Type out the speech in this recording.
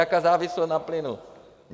Jaká závislost na plynu?